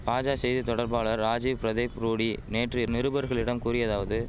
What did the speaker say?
பாஜா செய்தி தொடர்பாளர் ராஜிவ் பிரதிப் ரூடி நேற்று நிருபர்களிடம் கூறியதாவது